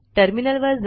terminal वर जा